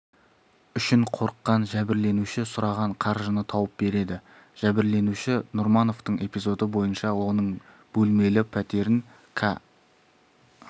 үшін қорыққан жәбірленуші сұраған қаржыны тауып береді жәбірленуші нұрмановтың эпизоды бойынша оның бөлмелі пәтерін ка